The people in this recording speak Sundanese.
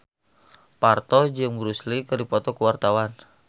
Parto jeung Bruce Lee keur dipoto ku wartawan